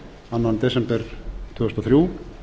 annan desember tvö þúsund og þrjú